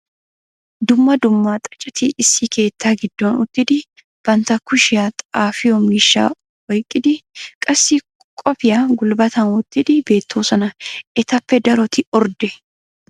Dumma dumma xaacetti issi keettaa giddon uttidi bantta kushshiyan xaafiyo miishshaa oyqqidi qassi koppoyiya gulbattan wottidi beettoosona. Etappe daroti ordde.